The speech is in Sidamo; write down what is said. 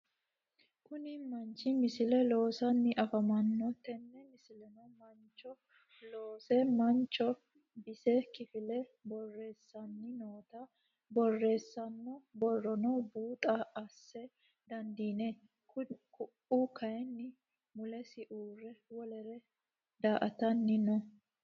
Kuni manchi misile loosanni afamano, tene misilenno mancho loose manchi bisi kifile boreesani nootta borreesano boronni buuxo assa dandinanni, ku'u kayini mulesi uure wolere daa'atani no